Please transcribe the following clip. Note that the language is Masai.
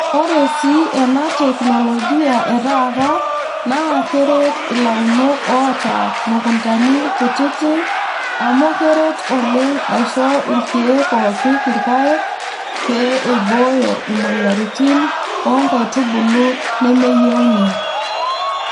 Ore sii ena teknologia etaata naa keret ilaunok oota mukuntani kutiti amuu keret oleng aisho irkeek oopik irpaek pee eibooyo imoyiaritin o nkaitubulu nemeyieuni.